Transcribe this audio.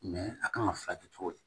a kan ka furakɛ cogo di